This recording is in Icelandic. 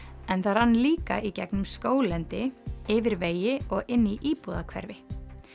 en það rann líka í gegnum skóglendi yfir vegi og inn í íbúðahverfi